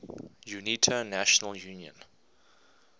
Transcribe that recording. unita national union